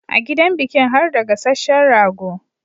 A gidan bikin harda gasashehen rago